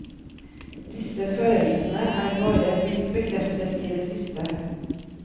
Disse følelsene er bare blitt bekreftet i det siste.